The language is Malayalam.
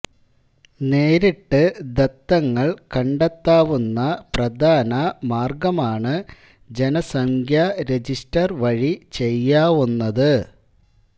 നേരിട്ട് ദത്തങ്ങൾ കണ്ടെത്താവുന്ന പ്രധാന മാർഗ്ഗമാണ് ജനസംഖ്യാരജിസ്റ്റർ വഴി ചെയ്യാവുന്നത്